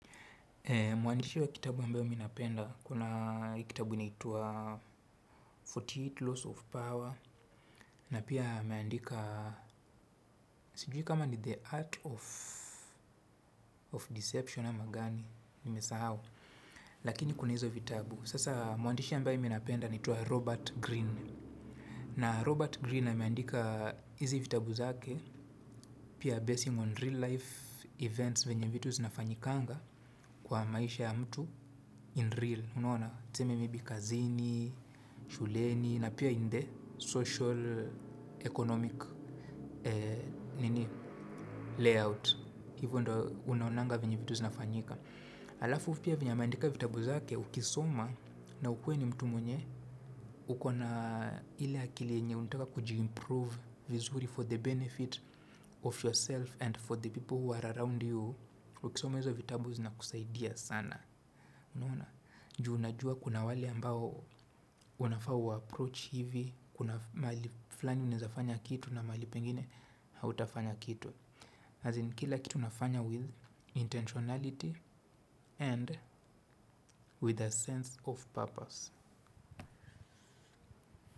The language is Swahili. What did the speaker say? Mwandishi wa kitabu ambayo mi napenda kuna kitabu inaitwa arobaini na nane Laws of Power na pia ameandika sijui kama ni the art of deception ama gani nimesahau lakini kuna hizo vitabu. Sasa mwandishi ambaye mi napenda anaitwa Robert Greene. Na Robert Greene ameandika hizi vitabu zake pia basing on real life events venye vitu zinafanyikanga kwa maisha ya mtu in real. Unaona tuseme maybe kazini, shuleni na pia in the social economic layout. Hivo ndo unaonanga venye vitu zinafanyika. Alafu pia venye ameandika vitabu zake ukisoma na ukue ni mtu mwenye uko na ile akili yenye unataka kujiimprove vizuri for the benefit of yourself and for the people who are around you. Ukisoma hizo vitabu zinakusaidia sana. Ju unajua kuna wale ambao unafa uwaapproach hivi. Kuna mahali flani unaeza fanya kitu na mahali pengine hautafanya kitu. As in kila kitu unafanya with intentionality and with a sense of purpose.